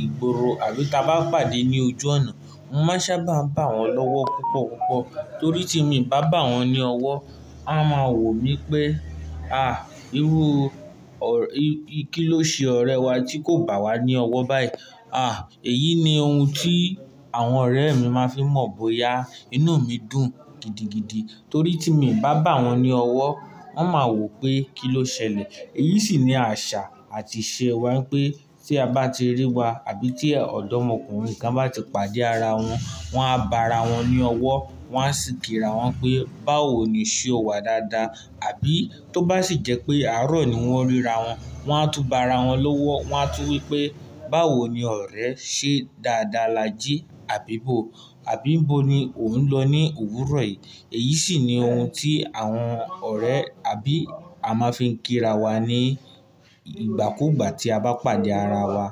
ìgboro àbí ta bá pàdé ní ojú ọ̀nà, mo máa sábà bá wọn lọ́wọ́ púpọ̀púpọ̀. Torí tí mi n bá bá wọn ní ọwọ́, wọ́n máa wò mí pé, írú, kí ló ṣe ọ̀rẹ́ wa tí kò bá wa ní ọwọ́ báyìí? Èyí ni ohun tí àwọn ọ̀rẹ́ mi máa ń fi mọ̀ bóyá inú mi dùn gidigidi. Torí tí mi ò bá bá wọn ní ọwọ́, wọ́n máa wò pé kí ló ṣẹlẹ̀. Èyí sì ni àṣà àti ìṣe wa pé tí a bá ti rí wa àbí tí ọ̀dọ́mọkùnrin kan bá ti pàdé ara wọn, wọ́n á bá ara wọn ní ọwọ́, wọ́n á sì kí ra wọn pé báwo ni ṣe ọ̀ wá dáadáa, àbí tó bá sì jẹ́ pé àárọ̀ ni wọ́n ríra wọn, wọ́n á tún bá ara wọn lówó, wọ́n á tún wí pé báwo ni ọ̀rẹ́ ṣe dáadáa la jí, àbí bó, àbí n bó ni ò ń lọ ní òwúrọ̀ yìí. Èyí sì ni ohun tí àwọn ọ̀rẹ́ àbí a máa ń fi ń kí ra wa ní ìgbàkúgbà tí a bá pàdé ara wa.